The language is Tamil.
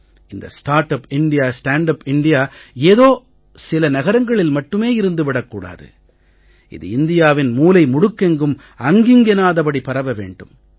இந்த start up India stand up India ஏதோ சில நகரங்களில் மட்டுமே இருந்து விடக் கூடாது இது இந்தியாவின் மூலை முடுக்கெங்கும் அங்கிங்கெனாதபடி பரவ வேண்டும்